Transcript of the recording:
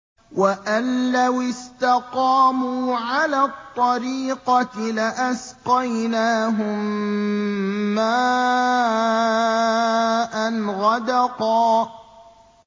وَأَن لَّوِ اسْتَقَامُوا عَلَى الطَّرِيقَةِ لَأَسْقَيْنَاهُم مَّاءً غَدَقًا